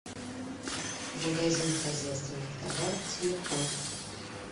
магазин хозяйственных товаров телефон